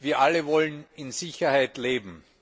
Wir alle wollen in Sicherheit leben.